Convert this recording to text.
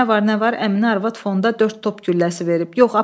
Nə var, nə var Əminə arvad fonda dörd top gülləsi verib.